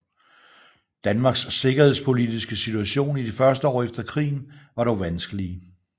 Danmarks sikkerhedspolitiske situation i de første år efter krigen var dog vanskelige